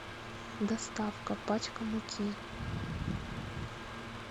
доставка пачка муки